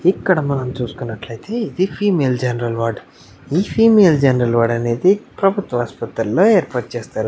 ఇక్కడ మనం చూస్టునట్లైతే ఇది female general ward female general ward అనేది చేస్తారు.